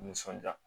Nisɔndiya